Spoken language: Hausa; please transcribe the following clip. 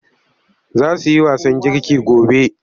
Za su yi wasan girki gobe.